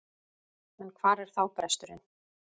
En hvar er þá bresturinn?